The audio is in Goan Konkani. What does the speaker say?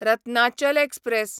रत्नाचल एक्सप्रॅस